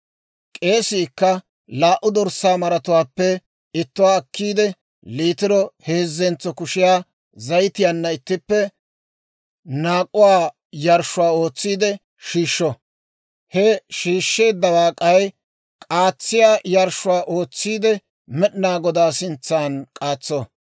«K'eesiikka laa"u dorssaa maratuwaappe ittuwaa akkiide, liitiro heezzentso kushiyaa zayitiyaanna ittippe naak'uwaa yarshshuwaa ootsiide shiishsho; he shiishsheeddawaa k'ay k'aatsiyaa yarshshuwaa ootsiide Med'inaa Godaa sintsan k'aatso.